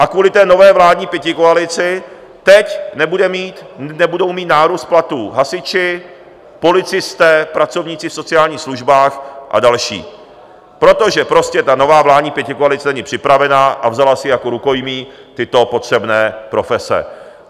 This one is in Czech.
A kvůli té nové vládní pětikoalici teď nebudou mít nárůst platů hasiči, policisté, pracovníci v sociálních službách a další, protože prostě ta nová vládní pětikoalice není připravena a vzala si jako rukojmí tyto potřebné profese.